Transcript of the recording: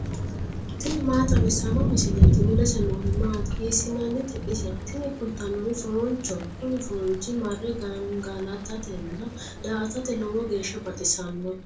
tini maa xawissanno misileeti ? mulese noori maati ? hiissinannite ise ? tini kultannori foonchoho. kuni foonchi marre gangalatatenna daa"atate lowo geeshsha baxissanno.